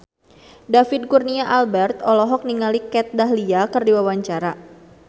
David Kurnia Albert olohok ningali Kat Dahlia keur diwawancara